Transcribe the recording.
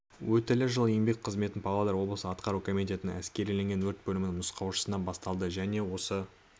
өтілі жыл еңбек қызметін павлодар облысы атқару комитетінің әскериленген өрт бөлімінің нұсқаушысынан бастады және осы